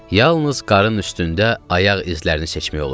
Yalnız qar üstündə ayaq izlərini seçmək olurdu.